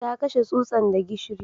Ta kashe tsutsan da gishiri